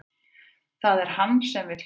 Það er hann sem vill fara